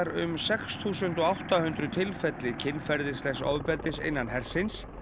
um sex þúsund átta hundruð tilfelli kynferðislegs ofbeldis innan hersins